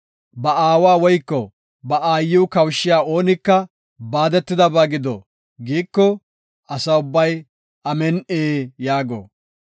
“Ba aawa woyko ba aayiw kawushiya oonika baadetidaysa gido” giiko, Asa ubbay, “Amin7i” yaago.